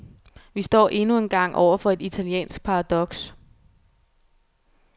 Vi står endnu engang over for et italiensk paradoks.